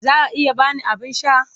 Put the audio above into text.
Za a iya ba ni abin sha?